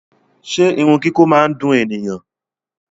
Ṣe irun kiko máa ni dùn ènìyàn?